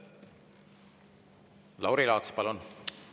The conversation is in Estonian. Lauri Laats, palun!